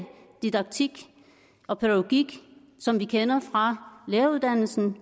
didaktik og pædagogik som vi kender fra læreruddannelsen